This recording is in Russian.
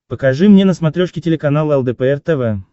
покажи мне на смотрешке телеканал лдпр тв